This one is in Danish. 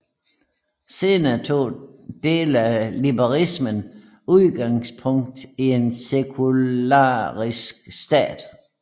Senere tog dele af liberalismen udgangspunkt i en sekularistisk stat